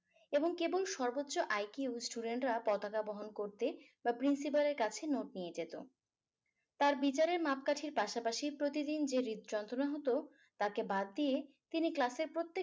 এবং কেবল সর্বোচ্চ IQ student রা পতাকা বহন করতে বা principle এর কাছে note নিয়ে যেত তার বিচারের মাপকাঠির পাশাপাশি প্রতিদিন যে হৃদযন্ত্রণা হতো তাকে বাদ দিয়ে তিনি class এর প্রত্যেক